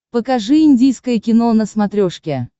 покажи индийское кино на смотрешке